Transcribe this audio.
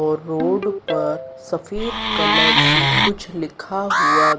और रोड पर सफेद कलर से कुछ लिखा हुआ--